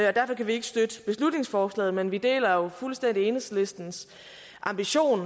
og derfor kan vi ikke støtte beslutningsforslaget men vi deler jo fuldstændig enhedslistens ambition